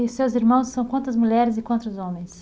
E seus irmãos são quantas mulheres e quantos homens?